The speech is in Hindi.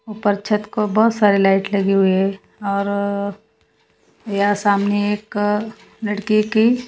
उपर छत को बहोत सारी लाइट लगी हुई है और या सामने एक लड़की के--